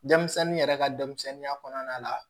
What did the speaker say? Denmisɛnnin yɛrɛ ka denmisɛnninya kɔnɔna la